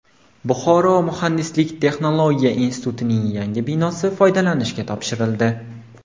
Buxoro muhandislik-texnologiya institutining yangi binosi foydalanishga topshirildi.